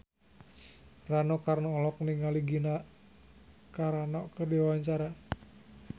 Rano Karno olohok ningali Gina Carano keur diwawancara